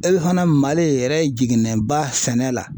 E fana MALI yɛrɛ jiginnɛba sɛnɛ la.